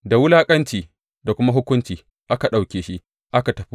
Da wulaƙanci da kuma hukunci aka ɗauke shi aka tafi.